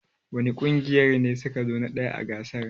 Wani ƙungiya ne su ka zo na ɗaya a gasar?